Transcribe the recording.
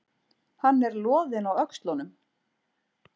Hann er loðinn á öxlunum.